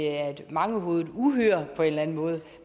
er et mangehovedet uhyre